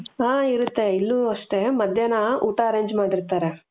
ಆ ಇರುತ್ತೆ ಇಲ್ಲೂ ಅಷ್ಟೆ ಮಧ್ಯಾಹ್ನ ಊಟ arrange ಮಾಡಿರ್ತಾರೆ